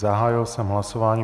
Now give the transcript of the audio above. Zahájil jsem hlasování.